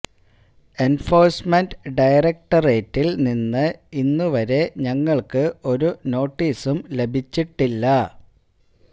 enforcement ഡയറക്ടറേറ്റില് നിന്ന് ഇന്നു വരെ ഞങ്ങള്ക്ക് ഒരു നോട്ടീസും ലഭിച്ചിട്ടില്ല